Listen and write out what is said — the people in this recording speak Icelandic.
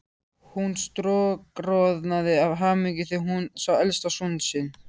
Hún stokkroðnaði af hamingju þegar hún sá elsta son sinn.